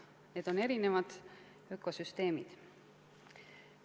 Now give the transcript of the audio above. Need on erinevad ökosüsteemid.